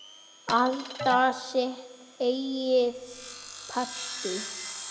Halda sitt eigið partí.